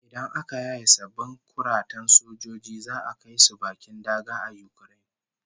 Idan aka yaye sabbin kuratan sojojin za'a kai su bakin daga a Ukraine